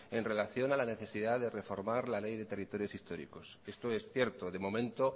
en relación a la necesidad de reformar la ley de territorios históricos esto es cierto de momento